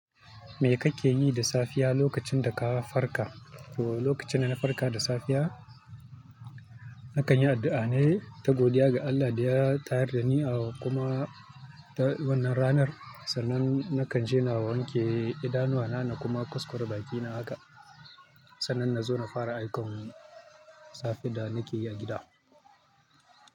Me kake yi da safiya lokacin da ka farka? To lokacin da na farka da safiya, na kan yi addu'a ne ta godiya ga Allah da ya tayar da ni a kuma ta wannan ranar. Sannan na kan je na wanke idanuwa na na kuma kuskura bakina haka. Sannan na zo na fara ayyukan safe da nake yi a gida.